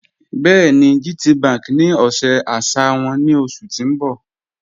Bẹẹni, GTBank ní ọ̀ṣẹ àṣà wọn ni oṣù tí n bọ́